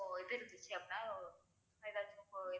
இப்போ இது இருந்துச்சு அப்படின்னா ஏதாச்சும் இப்போ